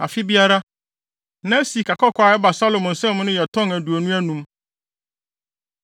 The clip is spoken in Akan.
Afe biara, na sikakɔkɔɔ a ɛba Salomo nsam no yɛ tɔn aduonu anum.